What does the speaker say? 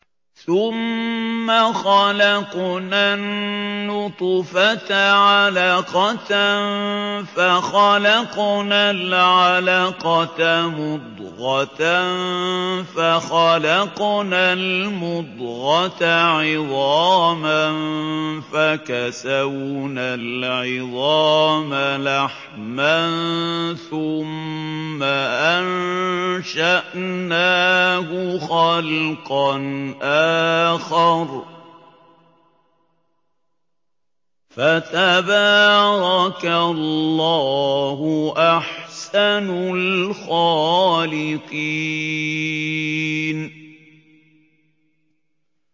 ثُمَّ خَلَقْنَا النُّطْفَةَ عَلَقَةً فَخَلَقْنَا الْعَلَقَةَ مُضْغَةً فَخَلَقْنَا الْمُضْغَةَ عِظَامًا فَكَسَوْنَا الْعِظَامَ لَحْمًا ثُمَّ أَنشَأْنَاهُ خَلْقًا آخَرَ ۚ فَتَبَارَكَ اللَّهُ أَحْسَنُ الْخَالِقِينَ